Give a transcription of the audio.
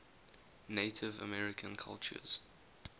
native american cultures